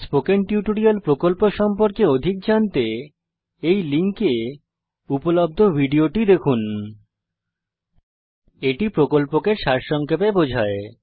spoken tutorial প্রকল্প সম্পর্কে অধিক জানতে এই লিঙ্কে উপলব্ধ ভিডিওটি দেখুন spoken tutorialorgভাট আইএস a spoken টিউটোরিয়াল এটি প্রকল্পকে সারসংক্ষেপে বোঝায়